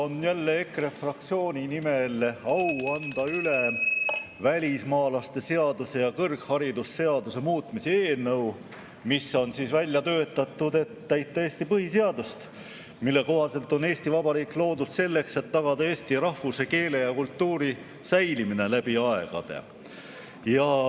Mul on jälle au anda EKRE fraktsiooni nimel üle välismaalaste seaduse ja kõrgharidusseaduse muutmise seaduse eelnõu, mis on välja töötatud, et täita Eesti põhiseadust, mille kohaselt on Eesti Vabariik loodud selleks, et tagada eesti rahvuse, keele ja kultuuri säilimine läbi aegade.